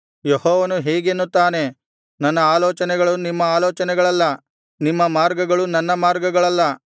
ಯೆಹೋವನು ಹೀಗೆನ್ನುತ್ತಾನೆ ನನ್ನ ಆಲೋಚನೆಗಳು ನಿಮ್ಮ ಆಲೋಚನೆಗಳಲ್ಲ ನಿಮ್ಮ ಮಾರ್ಗಗಳು ನನ್ನ ಮಾರ್ಗಗಳಲ್ಲ